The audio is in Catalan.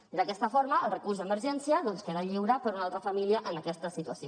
i d’aquesta forma el recurs d’emergència doncs queda lliure per a una altra família en aquesta situació